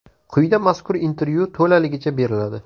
Quyida mazkur intervyu to‘laligicha beriladi.